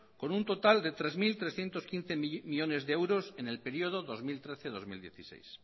con un total de tres mil trescientos quince millónes de euros en el periodo dos mil trece dos mil dieciséis